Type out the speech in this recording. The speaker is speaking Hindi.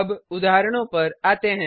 अब उदाहरणों पर आते हैं